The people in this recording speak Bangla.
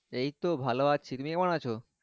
এই তো ভালো আছি তুমি কেমন আছো?